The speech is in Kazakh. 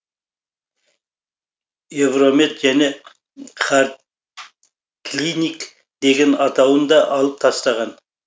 евромед және хардклиник деген атауын да алып тастаған